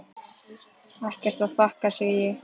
Ekkert að þakka, segi ég.